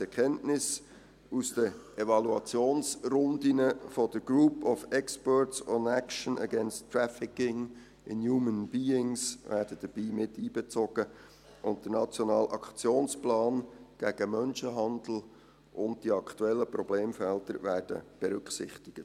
Die Erkenntnisse aus den Evaluationsrunden der GRETA werden dabei miteinbezogen, und der Nationale Aktionsplan gegen Menschenhandel und die aktuellen Problemfelder werden berücksichtigt.